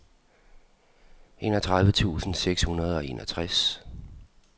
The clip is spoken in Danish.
enogtredive tusind seks hundrede og enogtres